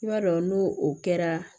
I b'a dɔn n'o o kɛra